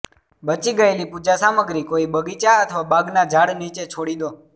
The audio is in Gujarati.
બચી ગયેલી પૂજા સામગ્રી કોઈ બગીચા અથવા બાગના ઝાડ નીચે છોડી દો